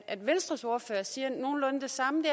at venstres ordfører sagde nogenlunde det samme